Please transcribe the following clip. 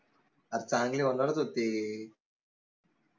आता चांगले होनारच होते